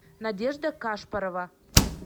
надежда кашпорова